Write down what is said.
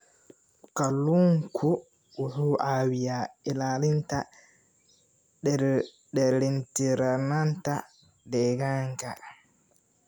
Kalluunku wuxuu caawiyaa ilaalinta dheelitirnaanta deegaanka.